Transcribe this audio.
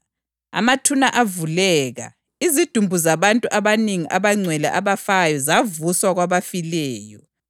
Amathuna avuleka, izidumbu zabantu abanengi abangcwele abafayo zavuswa kwabafileyo.